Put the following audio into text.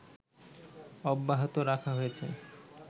অব্যাহত রাখা হয়েছে